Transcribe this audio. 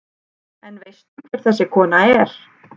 En veistu hver þessi kona er?